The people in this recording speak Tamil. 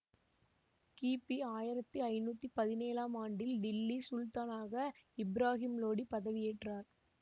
கிபி ஆயிரத்தி ஐநூத் தி பதினேழாம் ஆண்டில் டில்லி சுல்தானாக இப்ராஹிம் லோடி பதவி ஏற்றார்